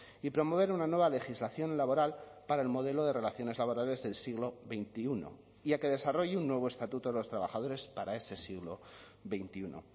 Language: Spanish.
y promover una nueva legislación laboral para el modelo de relaciones laborales del siglo veintiuno y a que desarrolle un nuevo estatuto de los trabajadores para ese siglo veintiuno